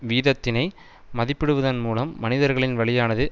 வீதத்தினை மதிப்பிடுவதன் மூலம் மனிதர்களின் வழியானது